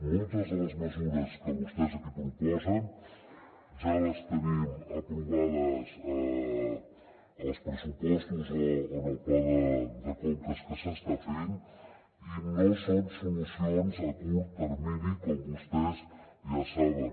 moltes de les mesures que vostès aquí proposen ja les tenim aprovades als pressupostos o en el pla de conques que s’està fent i no són solucions a curt termini com vostès ja saben